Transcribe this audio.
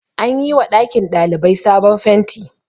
an yi wa ɗakin ɗalibai sabon fenti